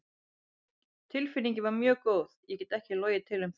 Tilfinningin var mjög góð, ég get ekki logið til um það.